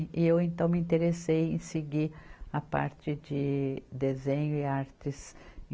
E eu, então, me interessei em seguir a parte de desenho e artes.